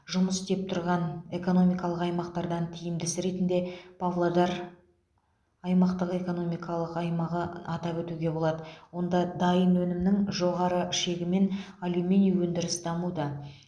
жұмыс істеп тұрған экономикалық аймақтардан тиімдісі ретінде павлодар аймақтық экономикалық аймағы атап өтуге болады онда дайын өнімнің жоғары шегімен алюминий өндіріс дамуда